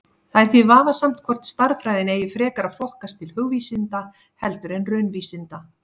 Það er því vafasamt hvort stærðfræðin eigi frekar að flokkast til hugvísinda heldur en raunvísinda.